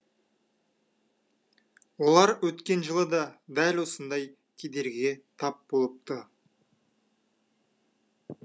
олар өткен жылы да дәл осындай кедергіге тап болыпты